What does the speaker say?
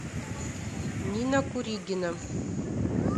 нина куригина